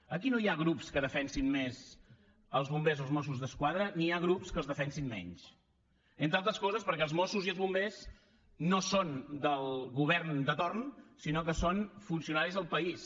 aquí no hi ha grups que defensin més els bombers o els mossos d’esquadra ni hi ha grups que els defensin menys entre altres coses perquè els mossos i els bombers no són del govern de torn sinó que són funcionaris del país